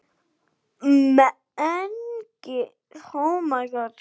Mengið eins og ykkur lystir.